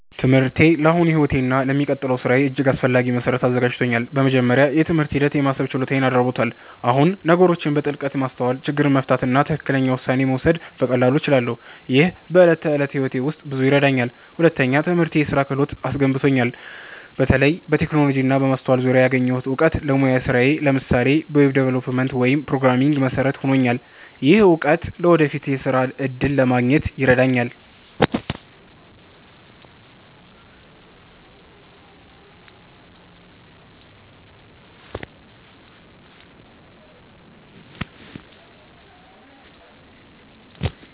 ትምህርቴ ለአሁኑ ሕይወቴ እና ለሚቀጥለው ሥራዬ እጅግ አስፈላጊ መሠረት አዘጋጅቶኛል። በመጀመሪያ፣ የትምህርት ሂደት የማሰብ ችሎታዬን አዳብሮታል። አሁን ነገሮችን በጥልቀት ማስተዋል፣ ችግር መፍታት እና ትክክለኛ ውሳኔ መውሰድ በቀላሉ እችላለሁ። ይህ በዕለት ተዕለት ሕይወቴ ውስጥ ብዙ ይረዳኛል። ሁለተኛ፣ ትምህርቴ የስራ ክህሎት አስገንብቶኛል። በተለይ በቴክኖሎጂ እና በማስተዋል ዙሪያ ያገኘሁት እውቀት ለሙያዊ ስራዬ (ለምሳሌ በweb development ወይም programming) መሠረት ሆኖልኛል። ይህ እውቀት ለወደፊት የሥራ እድል ለማግኘት ይረዳኛል።